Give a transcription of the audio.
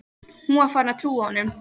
Hún er farin að trúa honum.